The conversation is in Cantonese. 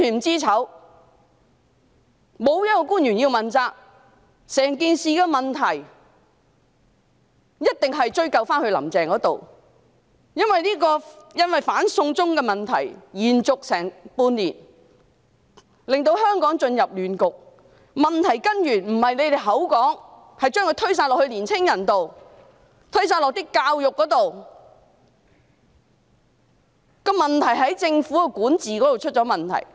整件事牽涉的種種問題，一定要追究到"林鄭"身上，因為"反送中"運動持續差不多半年，令香港陷入亂局，箇中根源並非你們口中的年青人，亦不是教育制度，而是在於政府的管治出現問題。